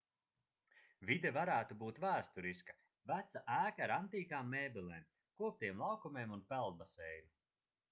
vide varētu būt vēsturiska veca ēka ar antīkām mēbelēm koptiem laukumiem un peldbaseinu